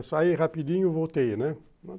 Eu saí rapidinho, voltei, né?